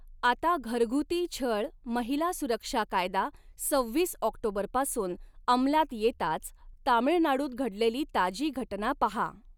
आता घरगुती छळ महिला सुरक्षा कायदा सव्वीस ऑक्टोबरपासून अंमलात येताच तामिळनाडूत घडलेली ताजी घटना पाहा.